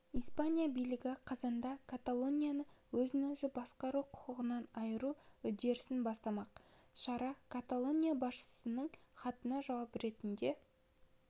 испания билігі қазанда каталонияны өзін-өзі басқару құқығынан айыру үдерісін бастамақ шара каталония басшысының хатына жауап ретінде